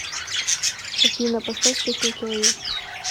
афина поставь песня кил ю